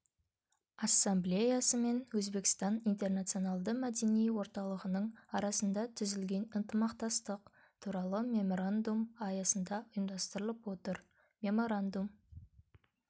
ассамблеясы мен өзбекстан интернационалды мәдени орталығының арасында түзілген ынтымақтастық туралы меморандум аясында ұйымдастырылып отыр меморандум